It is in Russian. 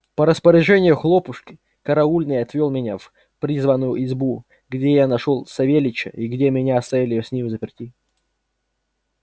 по распоряжению хлопушки караульный отвёл меня в призванную избу где я нашёл и савельича и где меня оставили с ним взаперти